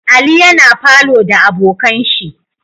Ali yana falow da abokanshi